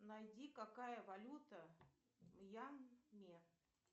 найди какая валюта в мьянме